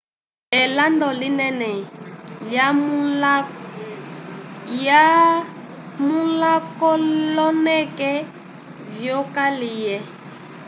elando linene lyamulakoloneke vyokalye